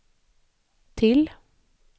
till